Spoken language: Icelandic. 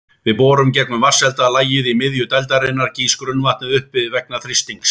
Við borun gegnum vatnshelda lagið í miðju dældarinnar gýs grunnvatnið upp vegna þrýstings.